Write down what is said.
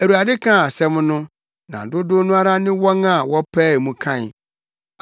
Awurade kaa asɛm no, na dodow no ara ne wɔn a wɔpaee mu kae;